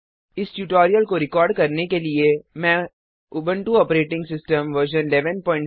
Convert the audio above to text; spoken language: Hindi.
इस ट्यूटोरियल को रिकार्ड करने के लिए मैं उबुंटू ऑपरेटिंग सिस्टम वर्जन 1104